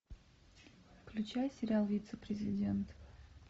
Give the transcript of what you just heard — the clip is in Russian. включай сериал вице президент